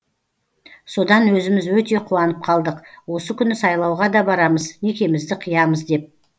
содан өзіміз өте қуанып қалдық осы күні сайлауға да барамыз некемізді қиямыз деп